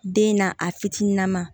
Den na a fitininama